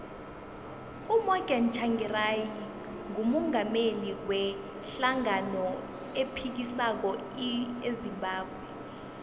umorgan tshangari ngumungameli we hlangano ephikisako ezimbabwe